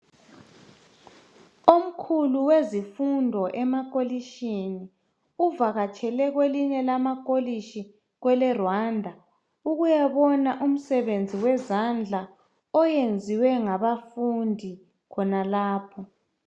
Omkhulu wezifundo emakolitshini uvakatshele kwelinye lamakolitshi kweleRwanda ukuyabona umsebenzi wezandla oyenziwe ngabafundi khonalapho.